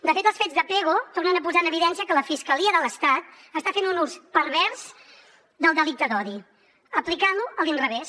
de fet els fets de pego tornen a posar en evidència que la fiscalia de l’estat està fent un ús pervers del delicte d’odi aplicant lo a l’inrevés